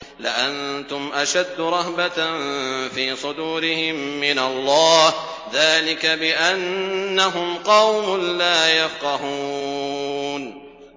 لَأَنتُمْ أَشَدُّ رَهْبَةً فِي صُدُورِهِم مِّنَ اللَّهِ ۚ ذَٰلِكَ بِأَنَّهُمْ قَوْمٌ لَّا يَفْقَهُونَ